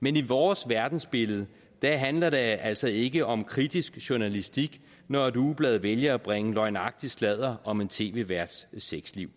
men i vores verdensbillede handler det altså ikke om kritisk journalistik når et ugeblad vælger at bringe løgnagtig sladder om en tv værts sexliv